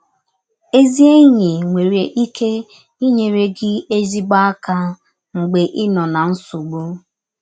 Ezi enyi nwere ike inyere gị ezịgbọ aka mgbe ị nọ ná nsọgbụ.